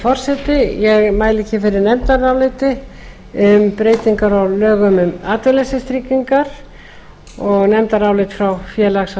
forseti ég mæli hér fyrir nefndaráliti um breytingar á lögum um atvinnuleysistryggingar og nefndarálit frá félags og